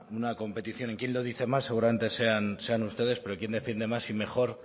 una competición y quien lo dice más seguramente sean ustedes pero quien defiende más y mejor